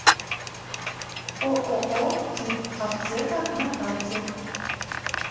ооо кит аптека на карте